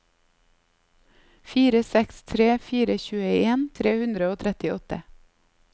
fire seks tre fire tjueen tre hundre og trettiåtte